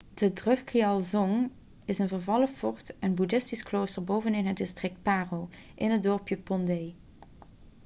de drukgyal dzong is een vervallen fort en boeddhistisch klooster bovenin het district paro in het dorpje phondey